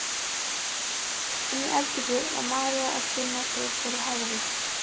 Inni í eldhúsi var María að kynna sig fyrir Herði.